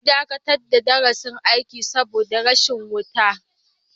An dakatar da darasin aiki saboda rashin wuta.